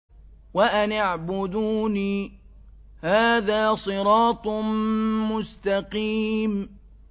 وَأَنِ اعْبُدُونِي ۚ هَٰذَا صِرَاطٌ مُّسْتَقِيمٌ